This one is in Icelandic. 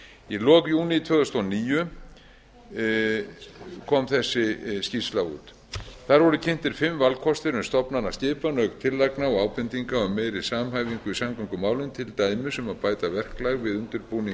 í lok júní tvö þúsund og níu kom þessi skýrsla út þar voru kynntir fimm valkostir um stofnanaskipan auk tillagna og ábendinga um meiri samhæfingu í samgöngumálum til dæmis um að bæta verklag við undirbúning